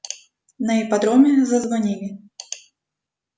на ипподроме зазвонили